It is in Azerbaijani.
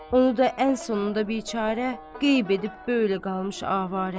Onu da ən sonunda biçare qeyb edib, böylə qalmış avara.